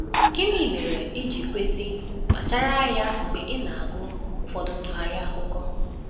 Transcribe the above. Gịnị mere i ji kwesị kpachara anya mgbe ị na-agụ ụfọdụ ntụgharị akụkọ?